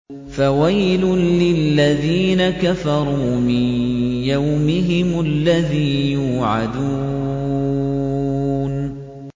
فَوَيْلٌ لِّلَّذِينَ كَفَرُوا مِن يَوْمِهِمُ الَّذِي يُوعَدُونَ